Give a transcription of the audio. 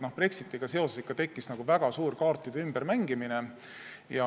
Brexitiga seoses tekkis väga suur kaartide ümbermängimine.